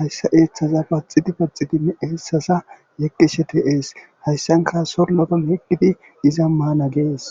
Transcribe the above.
hayssa eeththaza paxidi paxidinne eessaza yeggeshe te'ees hayssanka sollopayeggidi iza maana gees.